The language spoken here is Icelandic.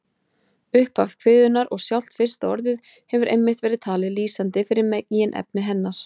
Upphaf kviðunnar og sjálft fyrsta orðið hefur einmitt verið talið lýsandi fyrir meginefni hennar.